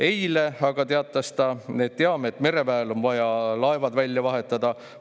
Eile aga teatas ta: "Teame, et mereväel on vaja laevad välja vahetada.